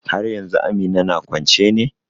Haryanzu Amina na kwance ne?